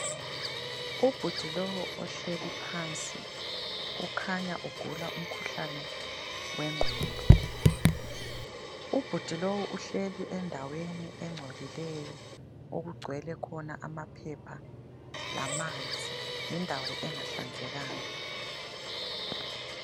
Ubhudi lowu uhleli phansi, kukhanya ugula umkhuhlane wengqondo. Ubhudi lowu uhleli endaweni engcolileyo okugcwele khona amaphepha lamanzi. Yindawo engahlanzekanga.